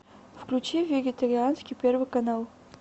включи вегетарианский первый канал